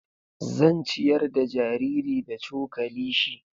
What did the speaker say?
Zan ciyar da jariri da cokali shi.